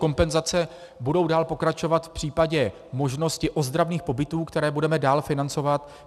Kompenzace budou dál pokračovat v případě možnosti ozdravných pobytů, které budeme dále financovat.